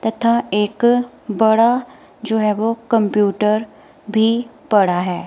तथा एक बड़ा जो है वह कंप्यूटर भी पड़ा है।